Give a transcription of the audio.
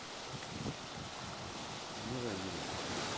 милая юлия